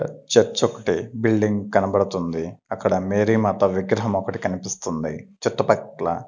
Church ఒకటి building కనబడుతుంది అక్కడ మేరీ మాత విగ్రహం ఒకటి కనిపిస్తుంది చుట్టుపక్కల.